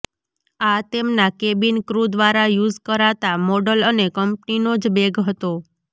આ તેમના cabin crew દ્વારા યુઝ કરાતા મોડલ અને કંપનીનો જ બેગ હતો